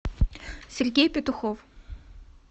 сергей петухов